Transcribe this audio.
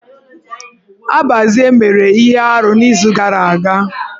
Abazie mere na ihe arụ n'izu gara aga.